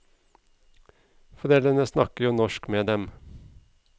Foreldrene snakker jo norsk med dem.